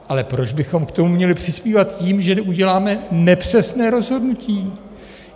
Ale proč bychom k tomu měli přispívat tím, že uděláme nepřesné rozhodnutí?